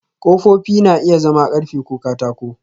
Ƙofofi na iya zama ƙarfe ko katako